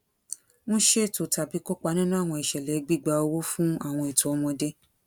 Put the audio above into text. n ṣeto tabi kopa ninu awọn iṣẹlẹ gbigba owo fun awọn eto ọmọde